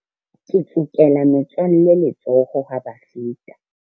Ke tsokela metswalle letsoho ha ba feta.